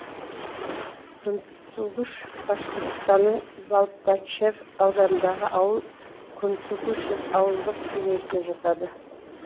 кунтугуш башқұртстанның балтачев ауданындағы ауыл кунтугушев ауылдық кеңесіне жатады